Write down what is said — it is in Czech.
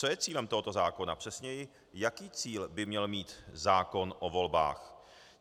Co je cílem tohoto zákona, přesněji - jaký cíl by měl mít zákon o volbách?